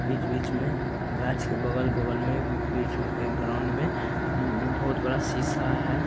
बीच-बीच में गाछ के बगल-बगल में बीच में कही ग्राउंड में उम बहुत बड़ा शीशा है।